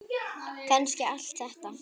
Kannski allt þetta.